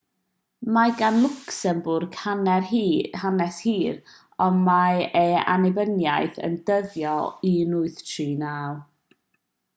mae gan lwcsembwrg hanes hir ond mae ei annibyniaeth yn dyddio o 1839